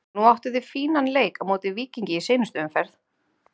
Núna áttuð þið fínan leik á móti Víkingi í seinustu umferð?